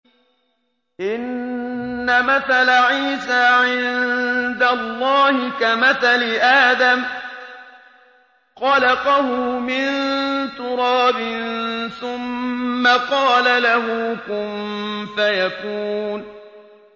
إِنَّ مَثَلَ عِيسَىٰ عِندَ اللَّهِ كَمَثَلِ آدَمَ ۖ خَلَقَهُ مِن تُرَابٍ ثُمَّ قَالَ لَهُ كُن فَيَكُونُ